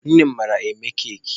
Nne m mara eme keki.